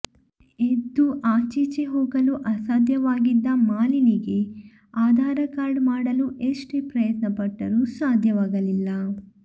ಎದ್ದು ಆಚೀಚೆ ಹೋಗಲು ಅಸಾಧ್ಯವಾಗಿದ್ದ ಮಾಲಿನಿಗೆ ಆಧಾರ ಕಾರ್ಡ್ ಮಾಡಲು ಎಷ್ಟೇ ಪ್ರಯತ್ನ ಪಟ್ಟರೂ ಸಾಧ್ಯವಾಗಲಿಲ್ಲ